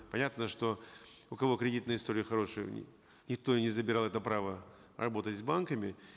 понятно что у кого кредитная история хорошая никто и не забирал это право работать с банками